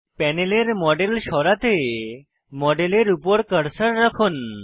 প্যানেলের মডেল সরাতে মডেলের উপর কার্সার রাখুন